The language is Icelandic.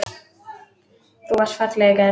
Þú varst falleg í gær.